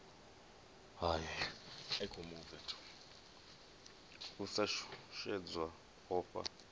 u sa shushedzwa u ofha